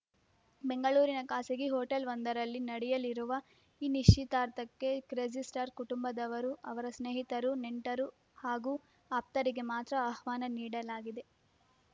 ಬೆಂಗಳೂರಿನ ಖಾಸಗಿ ಹೋಟೆಲ್‌ವೊಂದರಲ್ಲಿ ನಡೆಯಲಿರುವ ಈ ನಿಶ್ಚಿತಾರ್ಥಕ್ಕೆ ಕ್ರೇಜಿಸ್ಟಾರ್‌ ಕುಟುಂಬದವರು ಅವರ ಸ್ನೇಹಿತರು ನೆಂಟರು ಹಾಗೂ ಆಪ್ತರಿಗೆ ಮಾತ್ರ ಅಹ್ವಾನ ನೀಡಲಾಗಿದೆ